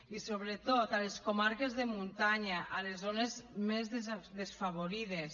i sobretot a les comarques de muntanya a les zones més desafavorides